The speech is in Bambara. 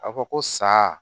A fɔ ko sa